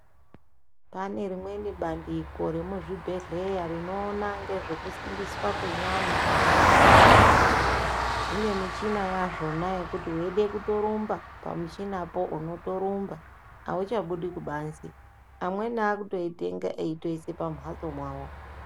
Pane rimweni bandiko remuzvibhedhlera rinoonekwa nezvekusimbiswa kwevanhu zvine mushina wazvona zvekuti uchida kurumba Pamushina po unotorumba auchabudi kubanze amweni akutoitenga achiisa kumbatso kwawo.